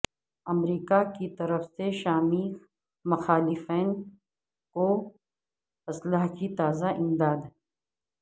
امریکہ کی طرف سے شامی مخالفین کو اسلحے کی تازہ امداد